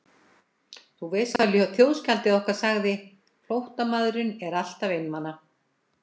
Þú veist hvað þjóðskáldið okkar sagði, flóttamaðurinn er alltaf einmana.